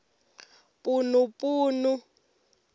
punupunu